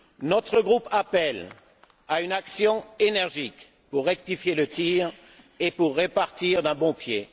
Notre groupe appelle à une action énergique pour rectifier le tir et pour repartir d'un bon pied.